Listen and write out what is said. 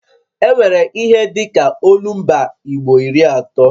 E nwere ihe dịka olumba igbo iri atọ